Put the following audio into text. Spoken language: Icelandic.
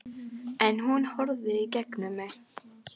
En hún horfir í gegnum mig